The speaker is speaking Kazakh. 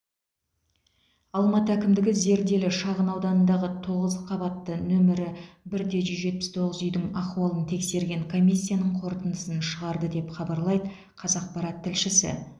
алматы әкімдігі зерделі шағынауданындағы тоғыз қабатты нөмірі бір де жүз жетпіс тоғыз үйдің ахуалын тексерген комиссияның қорытындысын шығарды деп хабарлайды қазақпарат тілшісі